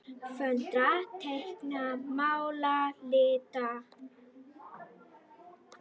Föndra- teikna- mála- lita